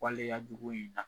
Waleyajugu in na